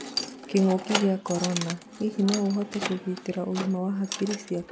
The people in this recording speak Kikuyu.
kĩng'ũki gĩa Korona: Hihi no ũhote kũgĩtĩra ũgima wa hakiri ciaku?